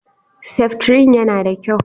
Seftrin yana da kyau.